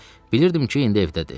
Bilirdim ki, indi evdədir.